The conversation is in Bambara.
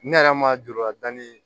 Ne yɛrɛ ma juru la da ni